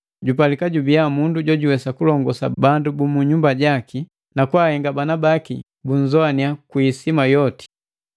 jupalika jubiya mundu jojuwesa kulongosa bandu bu nyumba jaki, nakahenga bana baki bunzowannya kwi isima yoti.